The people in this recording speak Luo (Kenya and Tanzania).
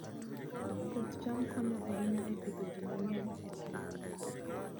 Puoth cham konyo ahinya e pidho ji mang'eny e piny mangima.